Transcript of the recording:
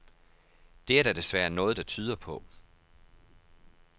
Det er der desværre noget der tyder på.